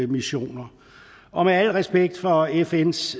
missioner og med al respekt for fns